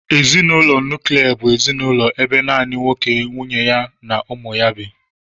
Ezinụlọ nuklia bụ ezinụlọ ebe naanị nwoke ,nwunye ya na ụmụ ya bi